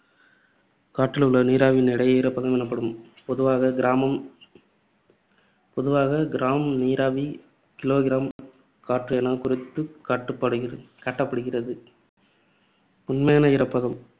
காற்றிழுள்ள நீராவியின் எடை ஈரப்பதம் எனப்படும். பொதுவாக கிராமம்~ பொதுவாக gram நீராவி kilogram காற்று எனக் குறித்துக் காட்டுப்படுகிறது~ காட்டப்படுகிறது. உண்மையான ஈரப்பதம்